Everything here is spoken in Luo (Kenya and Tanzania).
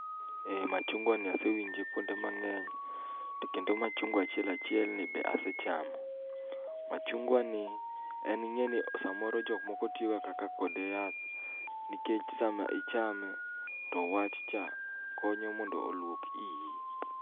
Ee machungwa ni asewinje kuonde mang'eny. To kendo machungwa achiel achiel ni be ase chamo. Machungwa ni en ing'e ni samoro jok moko tiyoga kaka kode yath, nikech sama ichame, to wach cha konyo mondo olwok iyi.